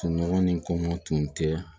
Kunɲɔgɔn nin kɔngɔ tun tɛ